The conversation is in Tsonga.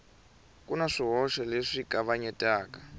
ku na swihoxo leswi kavanyetaka